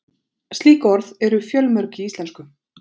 Slík orð eru fjölmörg í íslensku.